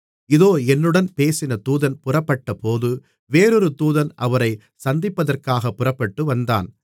இதோ என்னுடன் பேசின தூதன் புறப்பட்டபோது வேறொரு தூதன் அவரைச் சந்திப்பதற்காகப் புறப்பட்டு வந்தான்